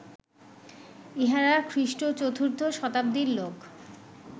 ইঁহারা খ্রীঃ চতুর্থ শতাব্দীর লোক